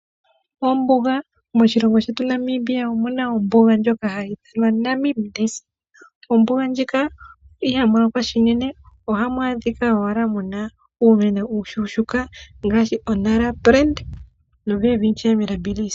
Ombuga, moshilongo shetu Namibia omuna ombuga ndjoka hayi ithanwa oNamib Desert. Ombuga ndjika ohamu lokwa unene, ohamu adhika owala muna uumeno uushushuka ngashi o!Nara plant, noWelwitschia mirabilis.